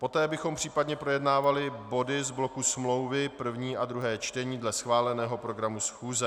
Poté bychom případně projednávali body z bloku smlouvy první a druhé čtení dle schváleného programu schůze.